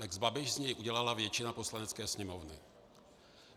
Lex Babiš z něj udělala většina Poslanecké sněmovny.